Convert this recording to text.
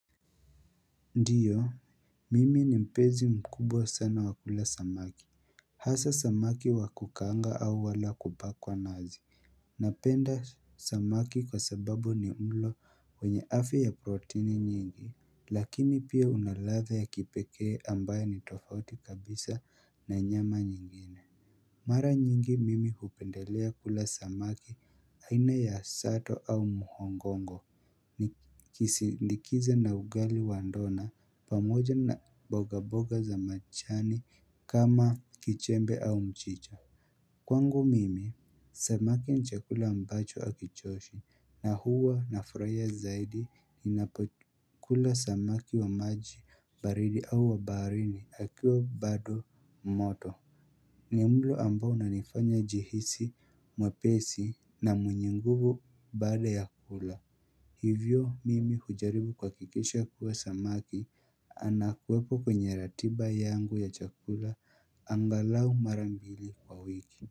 Ndiyo, mimi ni mpenzi mkubwa sana wa kula samaki. Hasa samaki wa kukaanga au wala kupakwa nazi. Napenda samaki kwa sababu ni mlo wenye afya ya protini nyingi. Lakini pia una ladha ya kipekee ambayo ni tofauti kabisa na nyama nyingine. Mara nyingi mimi hupendelea kula samaki aina ya sato au muhongongo. Nikisindikiza na ugali wa ndona pamoja na boga boga za machani kama kichembe au mchicha. Kwangu mimi, samaki ni chakula ambacho hakichoshi na huwa nafurahia zaidi ninapokula samaki wa maji baridi au wa baharini akiwa bado moto. Ni mlo ambao unanifanya nijihisi mwepesi na mwenye nguvu baada ya kula. Hivyo mimi hujaribu kuhakikisha kuwa samaki anawekwa kwenye ratiba yangu ya chakula angalau mara mbili kwa wiki.